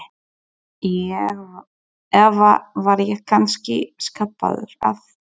Eða var ég kannski skapaður af